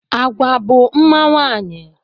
Agwa bụ mma nwaanyị